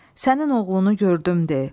Sənin oğlunu gördüm de.